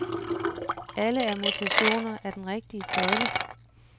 Alle er mutationer af den rigtige søjle.